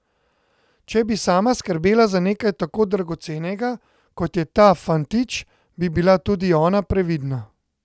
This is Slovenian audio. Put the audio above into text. Če bi sama skrbela za nekaj tako dragocenega, kot je ta fantič, bi bila tudi ona previdna.